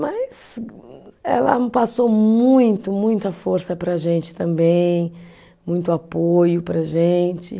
Mas ela passou muito, muita força para a gente também, muito apoio para a gente.